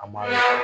A ma